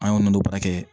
An y'o nɔnɔ baara kɛ